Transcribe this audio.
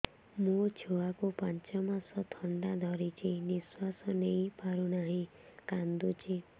ମୋ ଛୁଆକୁ ପାଞ୍ଚ ମାସ ଥଣ୍ଡା ଧରିଛି ନିଶ୍ୱାସ ନେଇ ପାରୁ ନାହିଁ କାଂଦୁଛି